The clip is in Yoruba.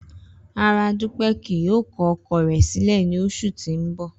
Rara, Dupe kii yoo kọ ọkọ rẹ silẹ ni oṣu ti n bọ.